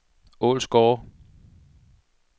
Ålsgårde